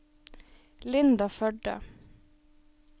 Linda Førde